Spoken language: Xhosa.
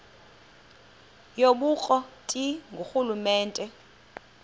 yobukro ti ngurhulumente